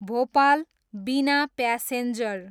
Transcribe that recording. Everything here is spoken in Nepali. भोपाल, बिना प्यासेन्जर